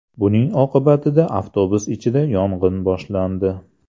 Buning oqibatida avtobus ichida yong‘in boshlandi.